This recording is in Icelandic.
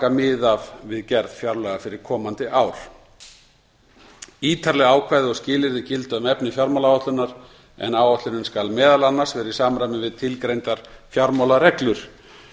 af við gerð fjárlaga fyrir komandi ár ítarleg ákvæði og skilyrði gilda um efni fjármálaáætlunar en áætlunin skal meðal annars vera í samræmi við tilgreindar fjármálareglur